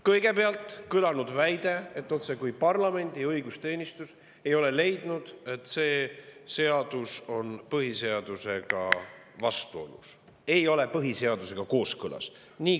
Kõigepealt kõlas väide, otsekui parlamendi õigusteenistus ei olevat leidnud, et see seadus on põhiseadusega vastuolus, ei ole sellega kooskõlas.